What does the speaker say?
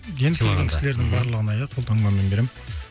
енді келген кісілердің барлығына иә қолтаңбамен беремін